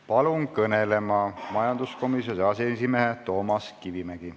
Palun kõnelema majanduskomisjoni aseesimehe Toomas Kivimägi.